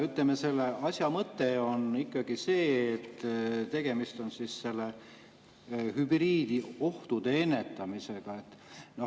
Selle asja mõte on ikkagi see, et tegemist on hübriidohtude ennetamisega.